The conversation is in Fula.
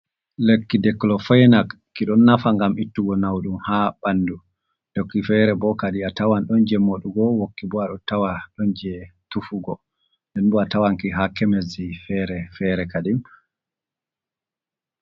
Lekki dikulofenak ki ɗon nafa ngam ittugo nawɗum haa ɓanndu. Wokki fere bo kadi a tawan ɗon jey moɗugo, wokki bo a ɗo tawa ɗon jey tufugo. Nden bo a tawanki haa kemesji fere fere kadin.